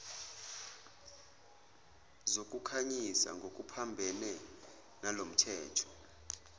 zokukhanyisa ngokuphambene nalomthetho